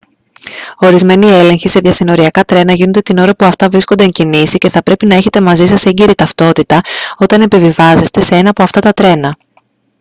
ορισμένοι έλεγχοι σε διασυνοριακά τρένα γίνονται την ώρα που αυτά βρίσκονται εν κινήσει και θα πρέπει να έχετε μαζί σας έγκυρη ταυτότητα όταν επιβιβάζεστε σε ένα από αυτά τα τρένα